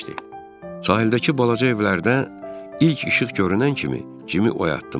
Sahildəki balaca evlərdə ilk işıq görünən kimi Cimi oyatdım.